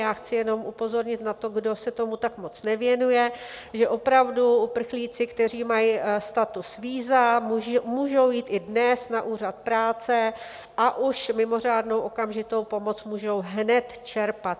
Já chci jenom upozornit na to, kdo se tomu tak moc nevěnuje, že opravdu uprchlíci, kteří mají status víza, můžou jít i dnes na úřad práce a už mimořádnou okamžitou pomoc můžou hned čerpat.